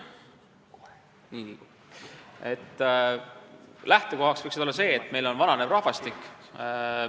Lähtekohaks võiks olla see, et meil on vananev rahvastik.